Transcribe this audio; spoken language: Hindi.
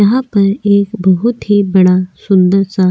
यहां पर एक बहुत ही बड़ा सुंदर सा --